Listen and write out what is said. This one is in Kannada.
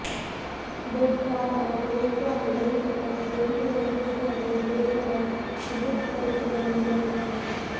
ಬೇಡ್ಕರ್ ಅವರು ಹುಟ್ಟುಹಾಕಿದ ಈ ವ್ಯವಸ್ಥೆ ಇಂದಿಗೂ ಯಶಸ್ವಿಯಾಗಿ ದೇಶದ ವಿದ್ಯುತ್ ಪರಿಸ್ಥಿತಿಯನ್ನು ನಿಭಾಯಿಸುತ್ತಿದೆ